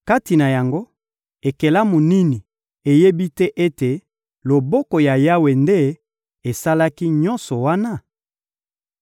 Kati na yango, ekelamu nini eyebi te ete loboko ya Yawe nde esalaki nyonso wana?